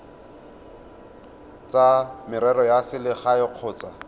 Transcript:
tsa merero ya selegae kgotsa